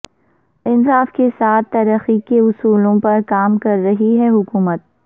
انصاف کے ساتھ ترقی کے اصولوں پر کام کررہی ہےحکومت